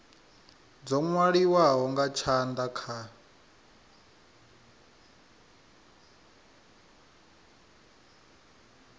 dzo nwaliwaho nga tshanda kha